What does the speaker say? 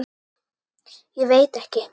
Ég veit ekki